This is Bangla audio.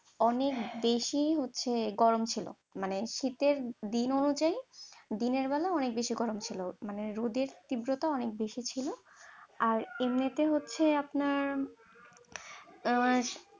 অনেক বেশি হচ্ছে গরম ছিল, মানে শীতের দিন অনুয়ায়ী দিনের বেলা অনেক বেশি গরম ছিল, মানে রোদের তীব্রতা অনেক বেশি ছিল, আর এমনিতে হচ্ছে আপনার মানে